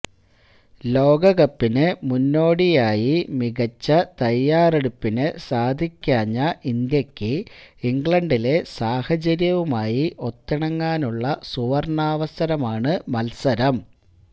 ലോകകപ്പിന് മുന്നോടിയായി മികച്ച തയാറെടുപ്പിന് സാധിക്കാഞ്ഞ ഇന്ത്യക്ക് ഇംഗ്ലണ്ടിലെ സാഹചര്യവുമായി ഒത്തിണങ്ങാനുള്ള സുവര്ണാവസരമാണ് മത്സരം